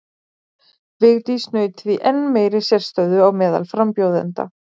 Vigdís naut því enn meiri sérstöðu á meðal frambjóðenda.